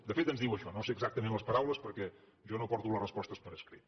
de fet ens diu això no sé exactament les paraules perquè jo no porto les respostes per escrit